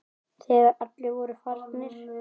Þegar allir voru farnir.